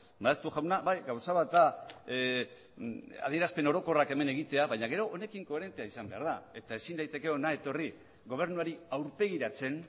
maeztu jauna bai gauza bat da adierazpen orokorrak hemen egitea baina gero honekin koherentea izan behar da eta ezin daiteke hona etorri gobernuari aurpegiratzen